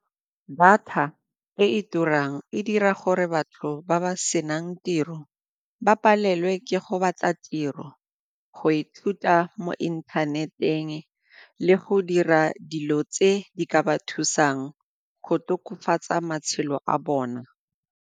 Data e e turang e dira gore batho ba ba senang tiro ba palelwe ke go batla tiro, go ithuta mo internet-eng le go dira dilo tse di ka ba thusang go tokafatsa matshelo a bona.